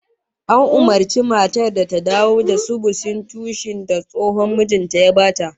An umurci matar ta dawo da sudusin toshin da tsohon mijin ta ya ba ta